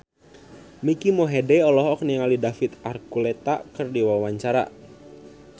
Mike Mohede olohok ningali David Archuletta keur diwawancara